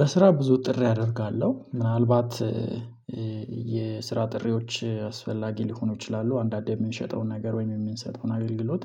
በስራ ብዙ ጥሪ አደርጋለሁ ምናልባት የስራ ጥሪዎች አስፈላጊ ሊሆኑ ይችላሉ። አንዳንዴ የምንሸጠውን ነገር ወይም የምንሰጠውን አገልግሎት